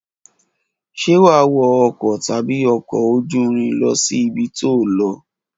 Ṣe wà wọ ọkọ tàbí ọkọ òjúrín lọsi ìbítọ lọ?